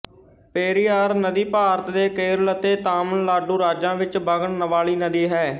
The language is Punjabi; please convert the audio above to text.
ਪੇਰੀਆਰ ਨਦੀ ਭਾਰਤ ਦੇ ਕੇਰਲ ਅਤੇ ਤਾਮਿਲਨਾਡੂ ਰਾਜਾਂ ਵਿੱਚ ਵਗਣ ਵਾਲੀ ਨਦੀ ਹੈ